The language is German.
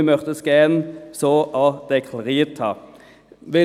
Das möchten wir auch so deklariert haben.